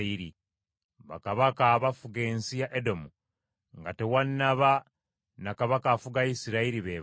Bakabaka abafuga ensi ya Edomu, nga tewannaba na kabaka afuga Isirayiri be bano: